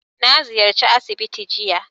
Na ziyarci asibiti jiya